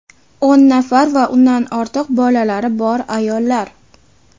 o‘n nafar va undan ortiq bolalari bor ayollar.